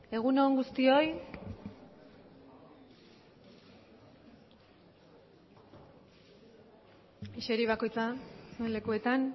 egun on guztioi eseri bakiotza suen lekuetan